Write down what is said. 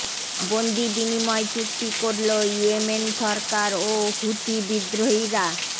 বন্দি বিনিময় চুক্তি করলো ইয়েমেন সরকার ও হুথি বিদ্রোহীরা